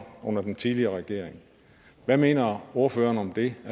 under den tidligere regering hvad mener ordføreren om det